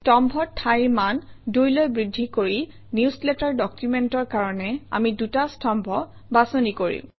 স্তম্ভৰ ঠাইৰ মান ২ লৈ বৃদ্ধি কৰি নিউজলেটাৰ ডকুমেণ্টৰ কাৰণে আমি ২টা স্তম্ভ বাছনি কৰিম